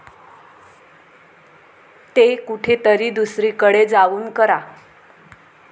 ते कुठेतरी दुसरीकडे जाऊन करा.